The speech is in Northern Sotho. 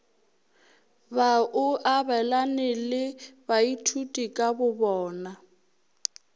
ba o abelane le baithutikabona